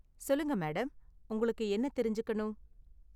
சொல்லுங்க மேடம், உங்களுக்கு என்ன தெரிஞ்சுக்கணும்?